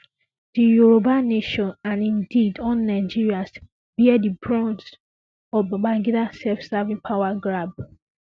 di yoruba nation and indeed all nigerians bear di brunt of Babangida selfserving power grab